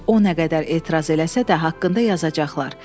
O nə qədər etiraz eləsə də, haqqında yazacaqlar.